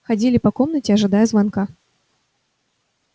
ходили по комнате ожидая звонка